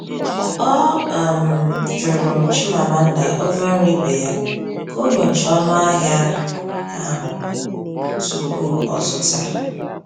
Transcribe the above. Ọ um jụrụ Chimamanda, onye ọrụ ibe ya, ka ọ nyochaa ọnụahịa ahụ tupu o zụta.